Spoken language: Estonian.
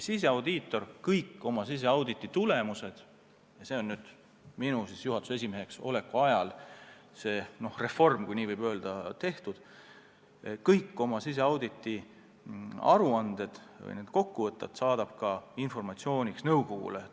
Siseaudiitor saadab kõik oma auditi tulemused – see reform sai tehtud ajal, kui mina juhatuse esimees olen olnud – või kokkuvõtted informatsiooniks ka nõukogule.